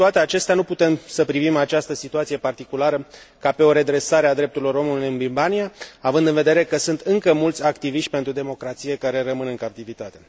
Cu toate acestea, nu putem să privim această situație particulară ca pe o redresare a drepturilor omului în Birmania, având în vedere că sunt încă mulți activiști pentru democrație care rămân în captivitate.